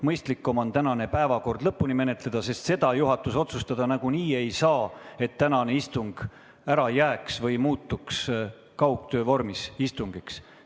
Mõistlikum on tänane päevakord lõpuni menetleda, sest seda juhatus nagunii otsustada ei saa, et tänane istung ära jätta või muuta kaugtöö vormis istungiks.